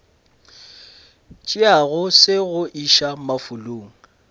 tšeago se go iša mafulong